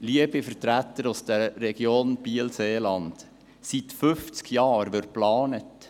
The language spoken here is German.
Liebe Vertreter der Region Biel-Seeland, seit fünfzig Jahren wird geplant.